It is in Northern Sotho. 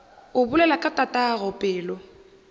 o bolela ka tatago pelo